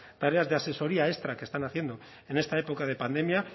tareas de asesoría extra que están haciendo en esta época de pandemia